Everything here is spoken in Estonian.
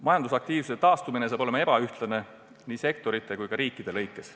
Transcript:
Majandusaktiivsuse taastumine saab olema ebaühtlane nii sektorite kui ka riikide lõikes.